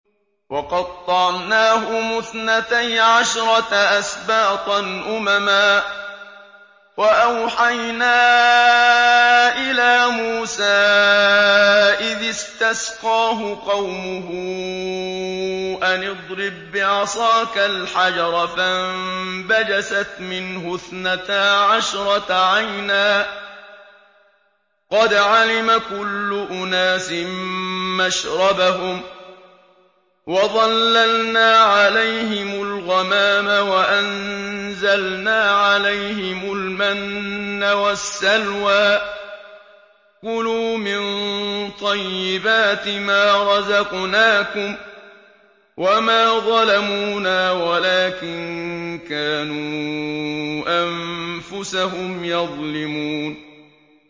وَقَطَّعْنَاهُمُ اثْنَتَيْ عَشْرَةَ أَسْبَاطًا أُمَمًا ۚ وَأَوْحَيْنَا إِلَىٰ مُوسَىٰ إِذِ اسْتَسْقَاهُ قَوْمُهُ أَنِ اضْرِب بِّعَصَاكَ الْحَجَرَ ۖ فَانبَجَسَتْ مِنْهُ اثْنَتَا عَشْرَةَ عَيْنًا ۖ قَدْ عَلِمَ كُلُّ أُنَاسٍ مَّشْرَبَهُمْ ۚ وَظَلَّلْنَا عَلَيْهِمُ الْغَمَامَ وَأَنزَلْنَا عَلَيْهِمُ الْمَنَّ وَالسَّلْوَىٰ ۖ كُلُوا مِن طَيِّبَاتِ مَا رَزَقْنَاكُمْ ۚ وَمَا ظَلَمُونَا وَلَٰكِن كَانُوا أَنفُسَهُمْ يَظْلِمُونَ